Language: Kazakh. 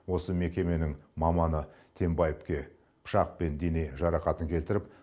осы мекеменің маманы тембаевке пышақпен дене жарақатын келтіріп